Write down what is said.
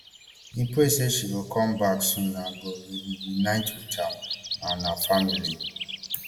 im pray say she go come back soon and go reunite wit am and her family